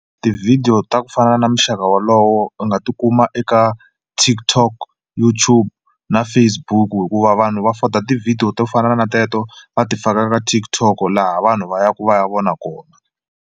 Tivhidiyo ta ku fana na muxaka walowo u nga tikuma eka TikTok, Youtube na Facebook hikuva vanhu va foda tivhidiyo to fana na teto va ti faka ka TikTok laha vanhu va yaka va ya vona kona.